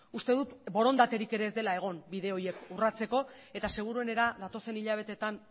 uste dut borondaterik ere ez dela egon bide horiek urratzeko eta seguruenera datozen hilabeteetan